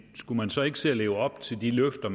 skulle socialdemokraterne så ikke se at leve op til de løfter